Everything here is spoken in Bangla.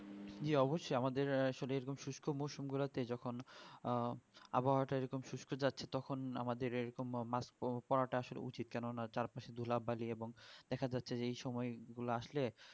জি অবশই আমাদের শিষ্য মোচন গুলা তে যখন আহ আবহাওয়া তা যখন শিষ্য জাতের ওপর পড়া তা ধুলা বালি পড়া এবং দেখা যাচ্ছে এই সময় ধুলা আসলো